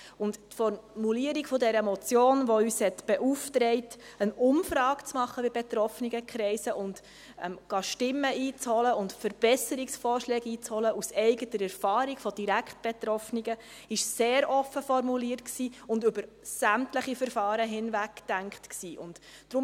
Die Formulierung der Motion , welche uns beauftragt hat, bei betroffenen Kreisen eine Umfrage zu machen, Stimmen und Verbesserungsvorschläge einzuholen – aus eigener Erfahrung bei direkt Betroffenen –, war sehr offen und über sämtliche Verfahren hinweg gedacht.